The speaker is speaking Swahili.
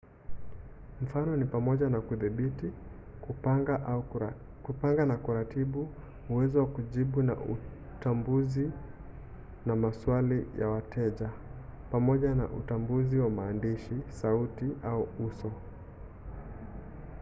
mfano ni pamoja na kudhibiti kupanga na kuratibu uwezo wa kujibu utambuzi na maswali ya wateja pamoja na utambuzi wa maandishi sauti na uso